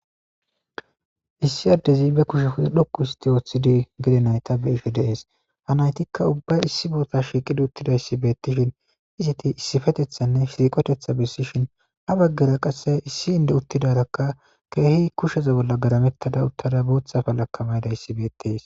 issi addezi be kushe dhoqu histi ooththidi gede nayta be7ishe dees ha naytikka ubba issi boota shiiqidi uttidayssi beettishin iziti issifetethanne shiiqotetha bessishin ha baggera qasse issi inde uttidarakka keehi kusheze bolla garamettada uttada booththafa laka maydayssi beetties